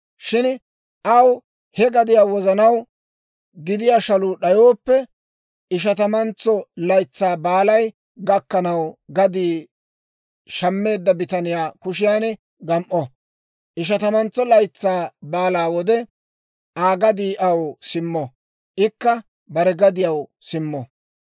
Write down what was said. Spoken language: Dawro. Shin aw he gadiyaa wozanaw gidiyaa shaluu d'ayooppe, Ishatamantso Laytsaa Baalay gakkanaw gadii shammeedda bitaniyaa kushiyaan gam"o; Ishatamantso Laytsaa Baalaa wode, Aa gadii aw simmo; ikka bare gadiyaw simmo.